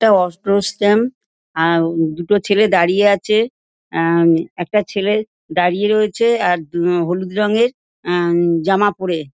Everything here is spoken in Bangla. এটা অটো স্ট্যান্ড আম দুটো ছেলে দাঁড়িয়ে আছে আম একটা ছেলে দাঁড়িয়ে রয়েছে আর হুম হলুদ রঙের উম জামা পরে।